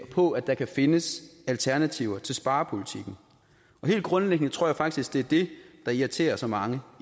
på at der kan findes alternativer til sparepolitikken helt grundlæggende tror jeg faktisk at det er det der irriterer så mange